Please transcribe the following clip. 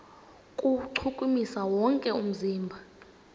kuwuchukumisa wonke umzimba